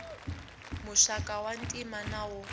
muxaka wa ntima na wo